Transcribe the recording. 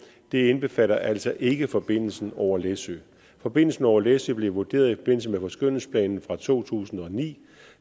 det indbefatter altså ikke forbindelsen over læsø forbindelsen over læsø blev vurderet i forbindelse med forskønnelsesplanen fra to tusind og ni